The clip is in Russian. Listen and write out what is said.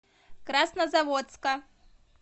краснозаводска